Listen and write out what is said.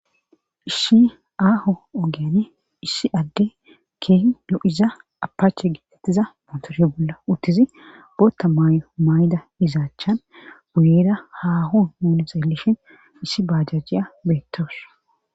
issi aaho ogen issi adde keeh no7iza apaache gitettiza motoro bolla uttizi bootta maay7o maay7ida izaachchan uyeeda haho noone zayllishin issi bajajjiya beettawus